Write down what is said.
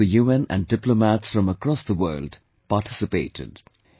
The staff of the UN and diplomats from across the world participated